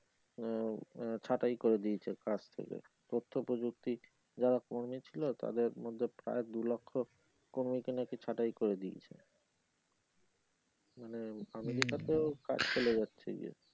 আহ ছাটাই করে দিয়েছে কাজ থেকে প্রত্যেকে দেখছি যারা কর্মী ছিলো তাদের মধ্যে প্রায় দুলক্ষ কর্মীকে নাকি ছাটাই করে দিয়েছে মানে আমেরিকাতে কাজ চলে যাচ্ছে যে